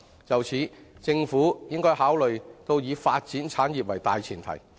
就此，政府應考慮以發展產業為大前提。